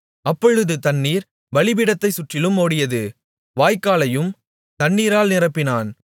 அப்பொழுது தண்ணீர் பலிபீடத்தைச் சுற்றிலும் ஓடியது வாய்க்காலையும் தண்ணீரால் நிரப்பினான்